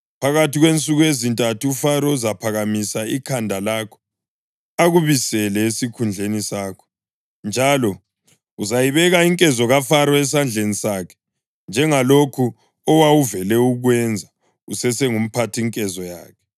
Phakathi kwensuku ezintathu uFaro uzaphakamisa ikhanda lakho akubisele esikhundleni sakho, njalo uzayibeka inkezo kaFaro esandleni sakhe njengalokhu owawuvele ukwenza usesengumphathinkezo yakhe.